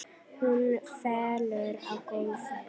Hún fellur á gólfið.